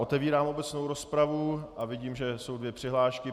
Otevírám obecnou rozpravu a vidím, že jsou dvě přihlášky.